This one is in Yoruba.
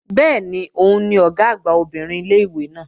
Bẹ́ẹ̀ni, òun ni Ọ̀gá àgbà obìnrin ilé-ìwé náà